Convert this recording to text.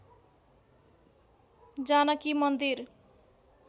जानकी मन्दिर